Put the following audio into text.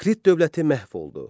Krit dövləti məhv oldu.